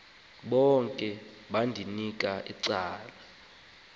bonke endandikwibanga elinye